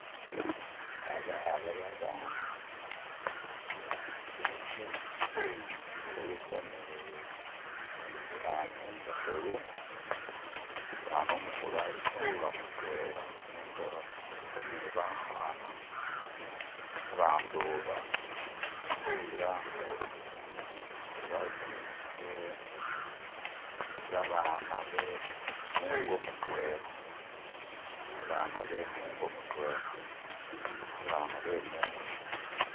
Ababa babaana bajeke kuliko ni umuseeza umukulu. Umuseeza umukulu aliko nga mudwena nenga kuliko ni bakana. Abantu ba kubalanga abana be mungo mudwena. Abana be mungo mudwena.